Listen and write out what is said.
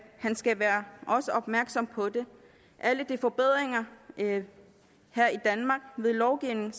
han skal være opmærksom på det alle forbedringer ved lovgivning